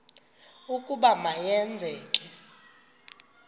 ukuba ma yenzeke